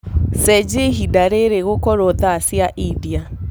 cenjĩaĩhĩnda riri gũkorwo thaa cĩa india